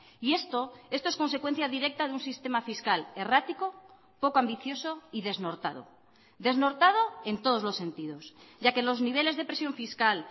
y esto esto es consecuencia directa de un sistema fiscal errático poco ambicioso y desnortado desnortado en todos los sentidos ya que los niveles de presión fiscal